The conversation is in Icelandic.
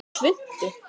Með svuntu.